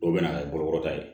Dɔw bɛ na kɛ bolokɔrɔta ye